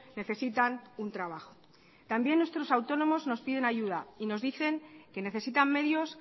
necesitan un trabajo también nuestros autónomos nos piden ayuda y nos dicen que necesitan medios